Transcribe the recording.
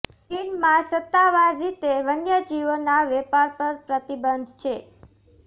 ચીનમાં સત્તાવાર રીતે વન્ય જીવોના વેપાર પર પ્રતિબંધ છે